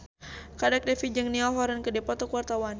Kadek Devi jeung Niall Horran keur dipoto ku wartawan